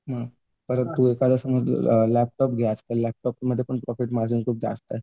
परत तू एखादा समज लॅपटॉप घेतलास लॅप्टोममध्ये पण खूप प्रॉफिट मार्जिन जास्त आहे.